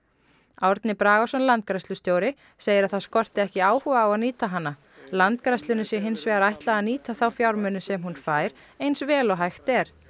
Árni Bragason landgræðslustjóri segir að það skorti ekki áhuga á að nýta hana landgræðslunni sé hins vegar ætlað að nýta fjármunina sem hún fær eins vel og hægt er